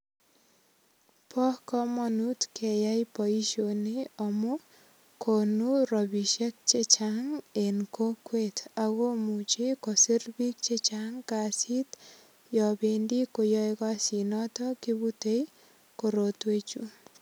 Bo kamanut keyai boisioni amu konu ropisiek chechang en kokwet. Agomuchi kosir biik che chang kasit yobendi koyoe kasit notet kibutei korotwechu.